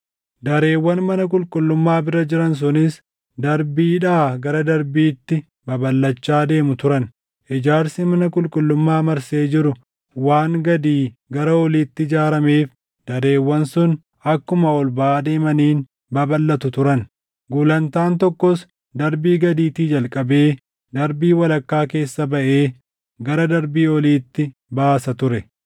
Dareewwan mana qulqullummaa bira jiran sunis darbiidhaa gara darbiitti babalʼachaa deemu turan. Ijaarsi mana qulqullummaa marsee jiru waan gadii gara oliitti ijaarameef dareewwan sun akkuma ol baʼaa deemaniin babalʼatu turan. Gulantaan tokkos darbii gadiitii jalqabee darbii walakkaa keessa baʼee gara darbii oliitti baasa ture.